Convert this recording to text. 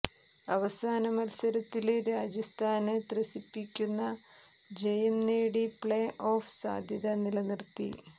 അവസാന മത്സരത്തില് രാജസ്ഥാന് ത്രസിപ്പിക്കുന്ന ജയം നേടി പ്ലേ ഓഫ് സാധ്യത നിലനിര്ത്തി